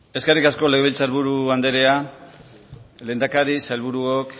eskerrik asko legebiltzar buru andrea lehendakari sailburuok